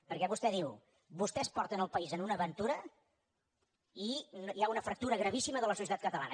perquè vostè diu vostès porten el país a una aventura i hi ha una fractura gravíssima de la societat catalana